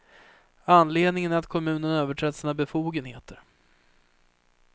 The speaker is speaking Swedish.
Anledningen är att kommunen överträtt sina befogenheter.